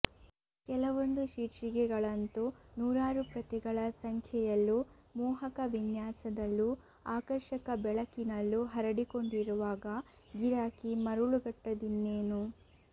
ಕೆಲವೊಂದು ಶೀರ್ಷಿಕೆಗಳಂತೂ ನೂರಾರು ಪ್ರತಿಗಳ ಸಂಖ್ಯೆಯಲ್ಲೂ ಮೋಹಕ ವಿನ್ಯಾಸದಲ್ಲೂ ಆಕರ್ಷಕ ಬೆಳಕಿನಲ್ಲೂ ಹರಡಿಕೊಂಡಿರುವಾಗ ಗಿರಾಕಿ ಮರುಳುಗಟ್ಟದಿನ್ನೇನು